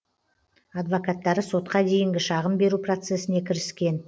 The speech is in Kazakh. адвокаттары сотқа дейінгі шағым беру процесіне кіріскен